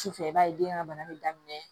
Sufɛ i b'a ye den ka bana bɛ daminɛ